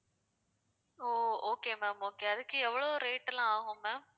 ஓ okay ma'am okay அதுக்கு எவ்வளவு rate லாம் ஆகும் ma'am